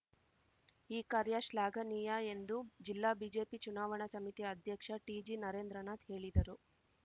ಈ ಕಾರ್ಯ ಶ್ಲಾಘನೀಯ ಎಂದು ಜಿಲ್ಲಾ ಬಿಜೆಪಿ ಚುನಾವಣಾ ಸಮಿತಿ ಅಧ್ಯಕ್ಷ ಟಿಜಿ ನರೇಂದ್ರನಾಥ್‌ ಹೇಳಿದರು